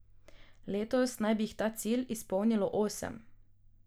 Letos naj bi jih ta cilj izpolnilo osem.